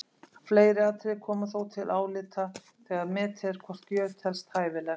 Fleiri atriði koma þó til álita þegar metið er hvort gjöf telst hæfileg.